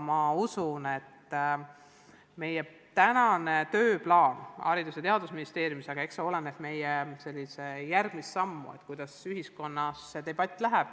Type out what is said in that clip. Ma usun, et meie tööplaan Haridus- ja Teadusministeeriumis, meie järgmised sammud olenevad sellest, kuidas ühiskonnas see debatt läheb.